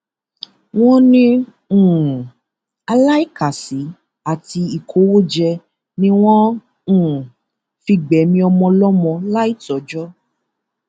wọn ní um aláìkàsí àti ìkówójẹ ni wọn um fi gbẹmí ọmọ ọlọmọ láì tó ọjọ